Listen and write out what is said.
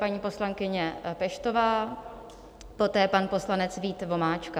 Paní poslankyně Peštová, poté pan poslanec Vít Vomáčka.